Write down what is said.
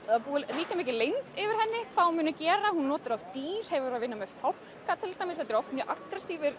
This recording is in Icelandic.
ríkja mikil leynd yfir henni hvað hún muni gera hún notar oft dýr hefur verið að vinna með fólk til dæmis þetta eru mjög